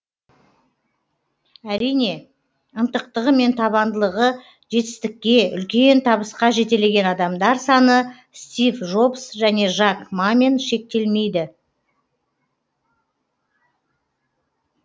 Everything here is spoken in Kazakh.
әрине ынтықтығы мен табандылығы жетістікке үлкен табысқа жетелеген адамдар саны стив жобс және жак мамен шектелмейді